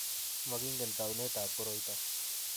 Mokingen taunetab koroito.